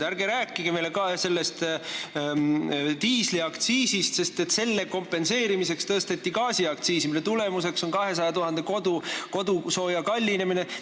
Ärge rääkige meile diisliaktsiisist, sest selle tõusu kompenseerimiseks tõsteti ju gaasiaktsiisi, mille tulemuseks on sooja kallinemine 200 000 kodus.